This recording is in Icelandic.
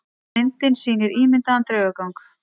Myndin sýnir ímyndaðan draugagang.